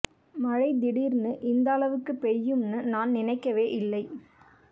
மழை திடீர்னு இந்த அளவுக்குப் பெய்யும்னு நான் நினைக்கவே இல்லை